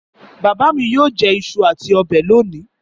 Bàbá mi yóò jẹ iṣu àti ọbẹ̀ lónìí.